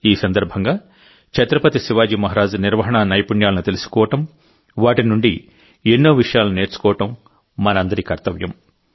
ఈ సందర్భంగా ఛత్రపతి శివాజీ మహారాజ్ నిర్వహణా నైపుణ్యాలను తెలుసుకోవడం వాటి నుండి ఎన్నో విషయాలను నేర్చుకోవడం మనందరి కర్తవ్యం